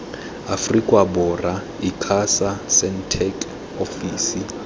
aforika borwa icasa sentech ofisi